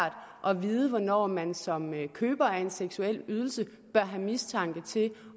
at vide hvornår man som køber af en seksuel ydelse bør have mistanke